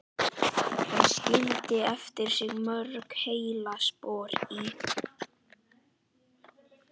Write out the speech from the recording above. Hann skildi eftir sig mörg heillaspor í